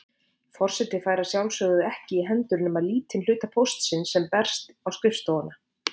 Forseti fær að sjálfsögðu ekki í hendur nema lítinn hluta póstsins sem berst á skrifstofuna.